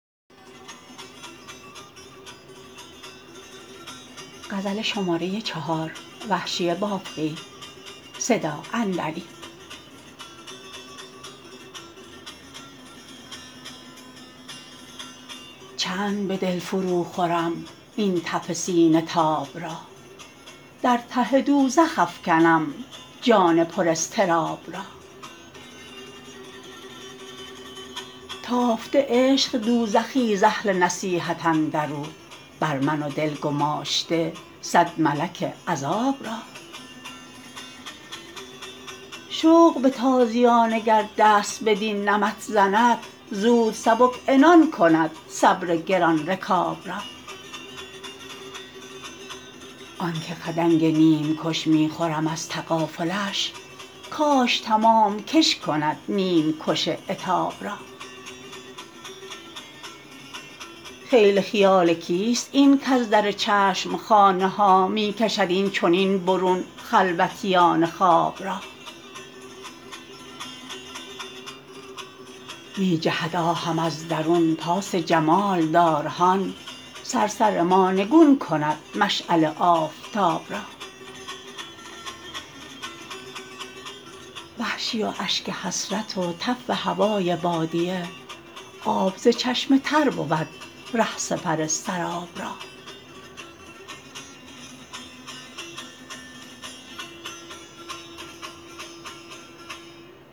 چند به دل فرو خورم این تف سینه تاب را در ته دوزخ افکنم جان پر اضطراب را تافته عشق دوزخی ز اهل نصیحت اندرو بر من و دل گماشته سد ملک عذاب را شوق به تازیانه گر دست بدین نمط زند زود سبک عنان کند صبر گران رکاب را آنکه خدنگ نیمکش می خورم از تغافلش کاش تمام کش کند نیمکش عتاب را خیل خیال کیست این کز در چشمخانه ها می کشد اینچنین برون خلوتیان خواب را می جهد آهم از درون پاس جمال دار هان صرصر ما نگون کند مشعل آفتاب را وحشی و اشک حسرت و تف هوای بادیه آب ز چشم تر بود ره سپر سراب را